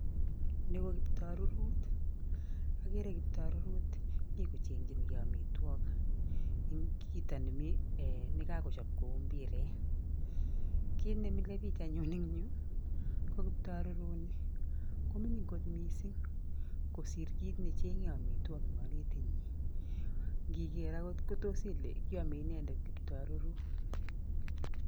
Nii ko kikiptarurut. Agere kikiptarurut mi kochengchinkei amitwagik, en kiito ne mi, ne kakochap kouu mbiret. Kiy ne mile biich en yuu, ko kikiptarurut ni, ko mining' kot mising' kosir kiit ne cheng'en amitwagik en kalutik nyi. Ngiker angot, kotos ile iame inendet kikiptarurut